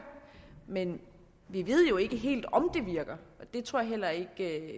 men vi ved jo ikke helt om det virker det tror jeg heller ikke